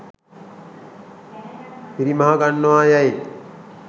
පිරිමහ ගන්නවා යැයි